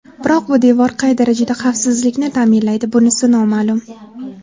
Biroq bu devor qay darajada xavfsizlikni ta’minlaydi, bunisi noma’lum.